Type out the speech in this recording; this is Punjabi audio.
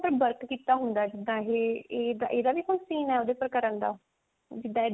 work ਕੀਤਾ ਹੁੰਦਾ ਜਿਦਾਂ ਇਹ ਇਹਦਾ ਵੀ ਕੋਈ scene ਹੈ ਉਹਦੇ ਪਰ ਕਰਨ ਦਾ ਜਿੱਦਾਂ